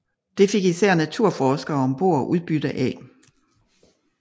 Det fik især naturforskerne om bord udbytte af